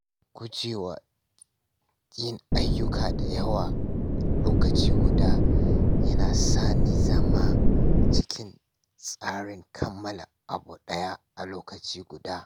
Guje wa yin ayyuka da yawa lokaci guda yana sa ni zama cikin tsarin kammala abu ɗaya a lokaci guda.